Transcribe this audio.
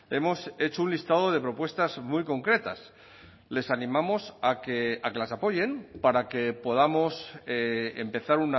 hemos hecho un listado de propuestas muy concretas les animamos a que las apoyen para que podamos empezar